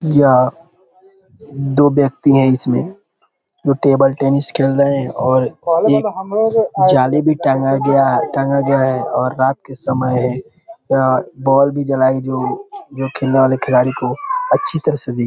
या दो ब्यक्ति है इसमें जो टेबल टेनिस खेल रहे हैं और एक जाली भी टंगा गया टंगा गया है और रात के समय है अ बॉल भी जलाई जो जो जो खेलने वाले खिलाड़ी को अच्छी तरह से भी --